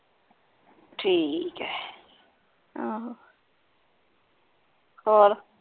ਠੀਕ ਹੈ ਹੋਰ